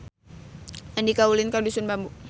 Andika ulin ka Dusun Bambu